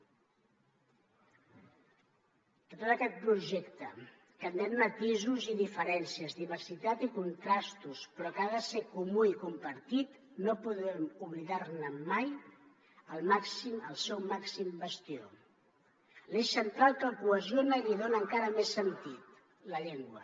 de tot aquest projecte que admet matisos i diferències diversitat i contrastos però que ha de ser comú i compartit no podem oblidar ne mai el seu màxim bastió l’eix central que el cohesiona i li dona encara més sentit la llengua